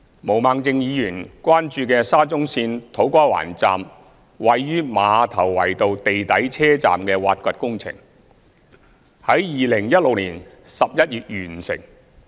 毛孟靜議員關注的沙中線土瓜灣站位於馬頭圍道地底車站的挖掘工程，於2016年11月完成。